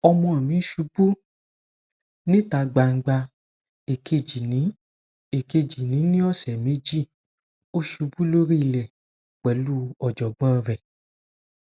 ọmọ mi ṣubú níta gbangba èkejì ní èkejì ní ọsẹ méjì ó ṣubú lórí ilẹ pelu ojogbon re